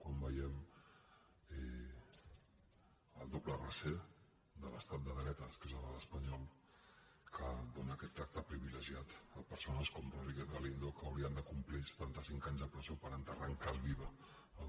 quan veiem el doble tractament de l’estat de dretes que és l’espanyol que dóna aquest tracte privilegiat a persones com rodríguez galindo que haurien de complir setanta cinc anys de presó per enterrar en calç viva